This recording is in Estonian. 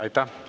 Aitäh!